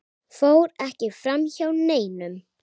fór ekki framhjá neinum.